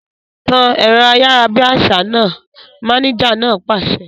Tan ẹ̀rọ ayárabíàṣá náà! Mánéjà náà pàṣẹ